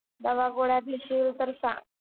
दवा गोळ्या घेशील तर सांग.